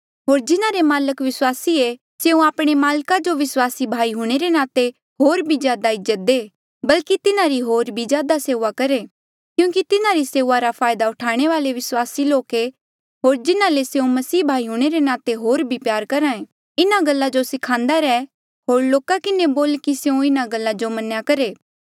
होर जिन्हारे माल्क विस्वासी ऐें स्यों आपणे माल्का जो विस्वासी भाई हूंणे रे नाते होर भी ज्यादा इज्जत दे बल्की तिन्हारी होर भी ज्यादा सेऊआ करहे क्यूंकि तिन्हारी सेऊआ रा फायदा उठाणे वाले विस्वासी लोक ऐें होर जिन्हा ले स्यों मसीह भाई हूंणे रे नाते होर भी प्यार करहे इन्हा गल्ला जो स्खान्दा रेह होर लोका किन्हें बोल कि स्यों इन्हा गल्ला जो मन्नेया करहे